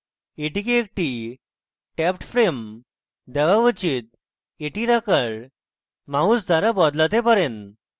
এটিকে একটি tabbed frame দেওয়া উচিত এটির আকার mouse দ্বারা বদলাতে পারেন